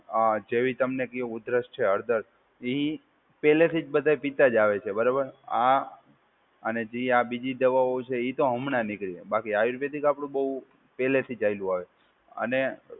અ જેવી તમને કઈ ઉદરસ છે હળદર, એ પહેલેથી જ બધાં પિતા જ આવે છે બરાબર? અને જે આ બીજી દવાઓ છે, એ તો હમણાં નીકળી. બાકી આયુર્વેદિક આપડું બહુ પહેલેથી ચાલ્યું આવે છે.